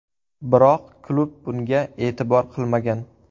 Biroq klub bunga e’tibor qilmagan.